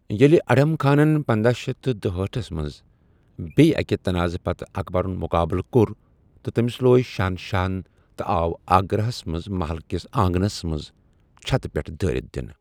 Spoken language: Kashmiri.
ییلہِ اڈھم خانن پنداہ شیٚتھ تہٕ دُہأٹھس منٛز بیٚیہِ ااکہِ تنازٕ پتہٕ اکبرُن مقابلہٕ کوٚر تہٕ تٔمِس لوے شہنشاہَن تہٕ آو آگرہَس منٛز مَحل کِس آگنَس منٛز چھتہٕ پٮ۪ٹھ دٲرِتھ دِنہٕ۔